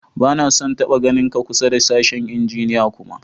Ba na son n'taba ganin ka kusa da sashen injiniya kuma!